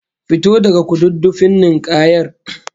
Fito daga kududdufin ninkayar!